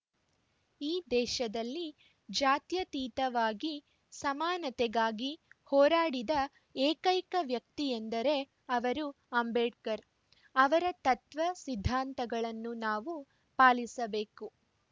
ಈ ದೇಶದಲ್ಲಿ ಜಾತ್ಯತೀತವಾಗಿ ಸಮಾನತೆಗಾಗಿ ಹೋರಾಡಿದ ಏಕೈಕ ವ್ಯಕ್ತಿಯೆಂದರೆ ಅವರು ಅಂಬೇಡ್ಕರ್‌ ಅವರ ತತ್ವ ಸಿದ್ಧಾಂತಗಳನ್ನು ನಾವು ಪಾಲಿಸಬೇಕು